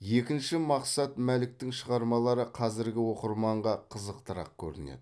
екінші мақсат мәліктің шығармалары қазіргі оқырманға қызықтырақ көрінеді